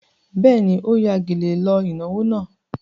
Bẹ́ẹ̀ni, ó ya gèlè lọ ìnáwó náà.